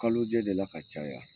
Kalojɛ de la ka caya